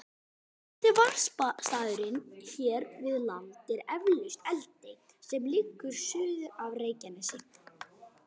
Kunnasti varpstaðurinn hér við land er eflaust Eldey sem liggur suður af Reykjanesi.